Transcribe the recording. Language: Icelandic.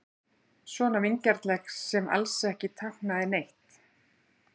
Svona vingjarnleg sem alls ekki táknaði neitt.